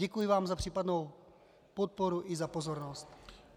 Děkuji vám za případnou podporu i za pozornost.